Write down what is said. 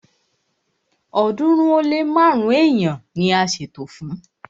ọ̀ọ́dúnrún ó lé márùn-ún èèyàn ni a ṣètò fún